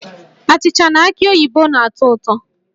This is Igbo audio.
Achịcha na aki oyibo na-atọ ụtọ